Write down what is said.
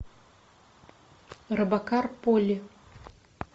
робокар поли